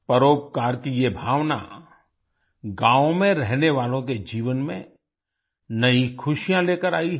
परोपकार की ये भावना गांवों में रहने वालों के जीवन में नई खुशियाँ लेकर आई है